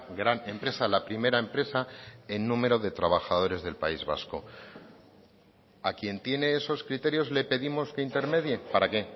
gran empresa la primera empresa en número de trabajadores del país vasco a quien tiene esos criterios le pedimos que intermedie para qué